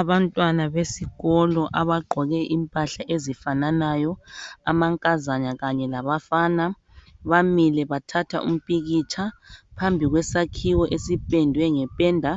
Abantwana besikolo abagqoke impahla ezifananayo, amankazana kanye labafana bamile bathatha impikitsha phambi kwesakhiwo esipendwe ngependa